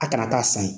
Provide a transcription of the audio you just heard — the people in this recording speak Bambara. A kana taa san ye